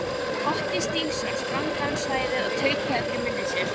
Otti Stígsson sprangaði um svæðið og tautaði fyrir munni sér.